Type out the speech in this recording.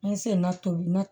An ye senna tobili na